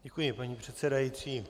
Děkuji, paní předsedající.